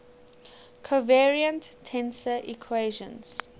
covariant tensor equations